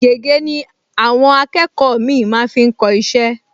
Gègé ni àwọn akẹ́kọ̀ọ mì-ín máa ń fi kọ iṣẹ́